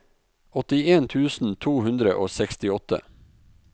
åttien tusen to hundre og sekstiåtte